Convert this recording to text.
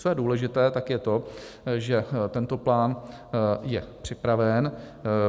Co je důležité, tak je to, že tento plán je připraven.